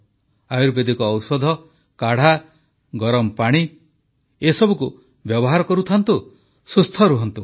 ଆୟୁର୍ବେଦିକ ଔଷଧ କାଢ଼ା ଗରମ ପାଣି ଏସବୁକୁ ବ୍ୟବହାର କରୁଥାନ୍ତୁ ସୁସ୍ଥ ରହନ୍ତୁ